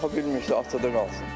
Ana baxa bilmirsə, atada qalsın.